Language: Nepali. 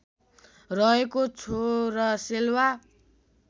रहेको छो र सेल्वा